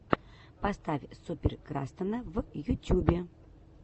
поставь супер крастана в ютюбе